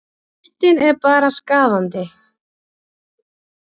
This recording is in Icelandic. Fréttin er bara skaðandi.